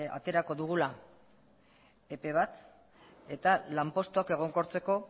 aterako dugula epe bat eta lanpostuak egonkortzeko